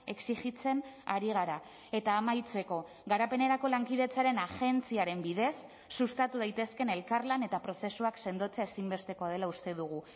exijitzen ari gara eta amaitzeko garapenerako lankidetzaren agentziaren bidez sustatu daitezkeen elkarlan eta prozesuak sendotzea ezinbestekoa dela uste dugu